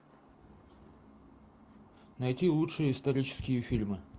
найти лучшие исторические фильмы